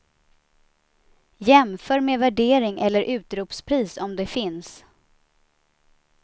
Jämför med värdering eller utropspris om det finns.